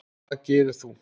Það gerðir þú.